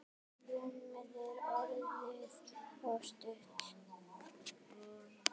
Rúmið er orðið of stutt.